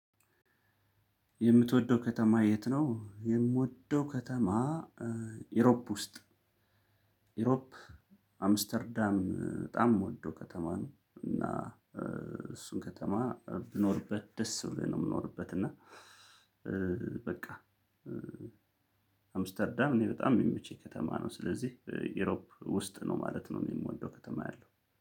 የምትወደው ከተማ የት ነው? የምወደው ከተማ ኢሮፕ ውስጥ ኢሮፕ አምስተርዳም በጣም ምወደው ከተማ ነው። እና እሱን ከተማ ብኖርበት ደስ ብሎኝ ነው የምኖርበት እና። በቃ አምስተርዳም እኔ በጣም የሚመቸኝ ከተማ ነው። ስለዚህ ኢሮፕ ውስጥ ነው ማለት ነው። የምወደው ከተማ ያለው